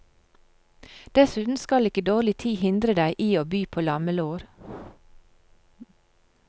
Dessuten skal ikke dårlig tid hindre deg i å by på lammelår.